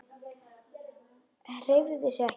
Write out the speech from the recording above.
Hreyfði sig ekki.